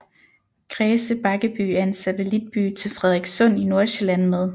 Græse Bakkeby er en satellitby til Frederikssund i Nordsjælland med